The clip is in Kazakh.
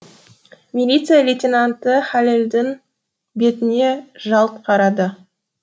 милиция лейтенанты хәлелдің бетіне жалт қарады